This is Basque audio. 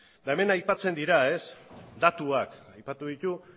eta hemen aipatzen dira datuak aipatu ditu